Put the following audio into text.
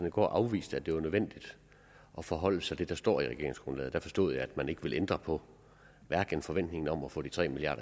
i går afviste at det var nødvendigt at forholde sig til det der står i regeringsgrundlaget der forstod jeg at man ikke ville ændre på forventningen om at få de tre milliard